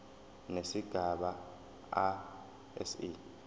nesigaba a se